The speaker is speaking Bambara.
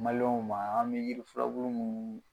ma an bɛ yiri furabulu munnu.